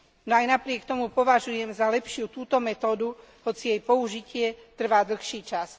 No aj napriek tomu považujem za lepšiu túto metódu, hoci jej použitie trvá dlhší čas.